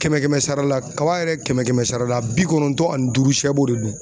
Kɛmɛ kɛmɛ sara la kaba yɛrɛ kɛmɛ kɛmɛ sara la bi kɔnɔntɔn ani duuru sɛ b'o de dun